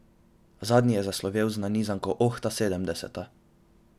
Zadnji je zaslovel z nanizanko Oh, ta sedemdeseta.